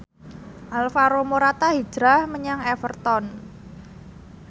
Alvaro Morata hijrah menyang Everton